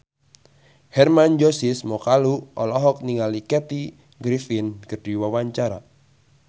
Hermann Josis Mokalu olohok ningali Kathy Griffin keur diwawancara